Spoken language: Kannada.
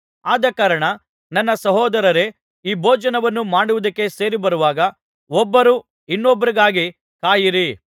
ಆದಕಾರಣ ನನ್ನ ಸಹೋದರರೇ ಈ ಭೋಜನವನ್ನು ಮಾಡುವುದಕ್ಕೆ ಸೇರಿಬರುವಾಗ ಒಬ್ಬರು ಇನ್ನೊಬ್ಬರಿಗಾಗಿ ಕಾಯಿರಿ